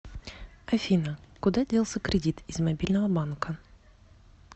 афина куда делся кредит из мобильного банка